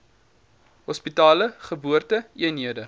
hospitale geboorte eenhede